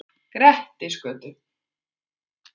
Grettisgötu